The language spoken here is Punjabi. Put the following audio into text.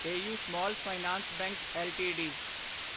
AU small finance bank LTD